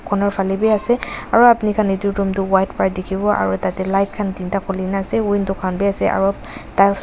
Corner phale bhi ase aro apini khan etu room tuh white para dekhivo aro tatey light khan tinta khulena ase window khan bhi ase aro tiles --